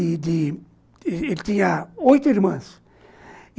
e de... ele tinha oito irmãs.